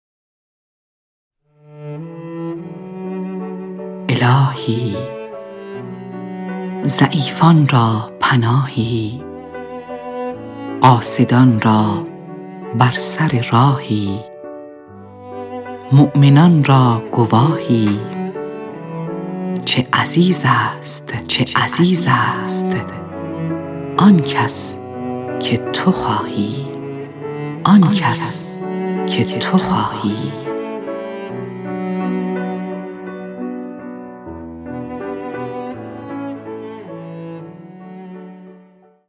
الهی ضعیفان را پناهی قاصدان را بر سر راهی مومنان را گواهی چه عزیز است آن کس که تو خواهی